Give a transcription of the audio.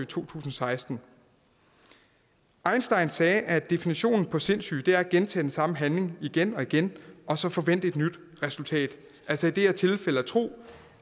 tusind og seksten einstein sagde at definitionen på sindssyge er at gentage den samme handling igen og igen og så forvente et nyt resultat altså i det her tilfælde at tro